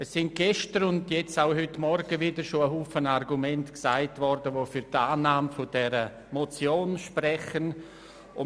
Gestern und auch heute Morgen wurden zahlreiche Argumente für die Annahme der Motion geäussert.